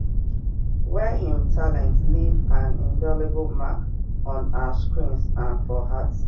wey im talent leave an indelible mark on ur screens and for hearts